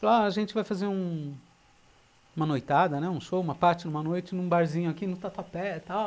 Falaram, a gente vai fazer uma noitada, um show, uma party numa noite, num barzinho aqui no Tatuapé e tal.